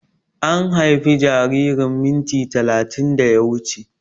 An haife jaririn minti talatin da ya wuche